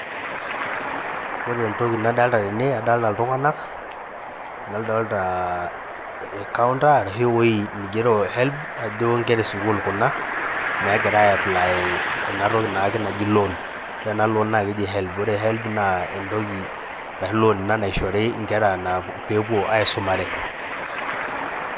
Ore entoki nadolita tenee adolita ltunganak nadolita irkaunta ashua eweji neigero Helb kajo inkera esukul Kuna nagira ayaplaya naa entoki naji loan ore ena loan naa Kenji Helb ore Helb naa entoki enoshi loan naishori inkera pee epuo aisumare.